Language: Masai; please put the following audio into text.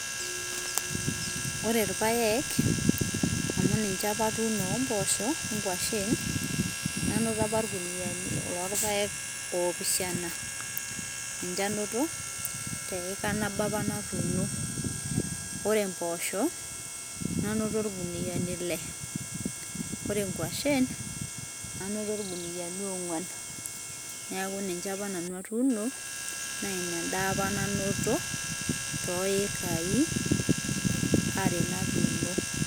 ore ilpaek amu ninche apa atunoo ombosho ongwashen, nanoo apa ilkuniani lopaek opishana ninche anoto teika apa natuno, ore mbosho nanoto ilkuniani ile ore ingwashen nanoto ilkuniani ongwan, niaku ninche apa nanu atuno na ina apa enda nanu nanoto toikai are natunoo.